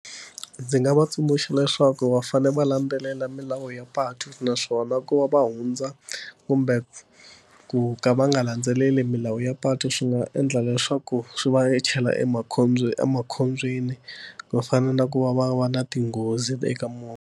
Ndzi nga va tsundzuxa leswaku va fanele va landzelela milawu ya patu naswona ku va va hundza kumbe ku ka va nga landzeleli milawu ya patu swi nga endla leswaku swi va chela emakhombyeni, to fana na ku va va va na tinghozi eka movha.